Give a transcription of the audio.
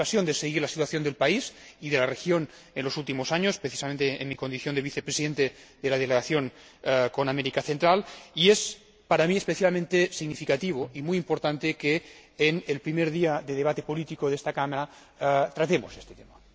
He tenido ocasión de seguir la situación del país y de la región en los últimos años, precisamente en mi condición de vicepresidente de la Delegación para las Relaciones con los Países de la Centroamérica, y es para mí especialmente significativo y muy importante que en el primer día de debate político de esta Cámara tratemos este tema.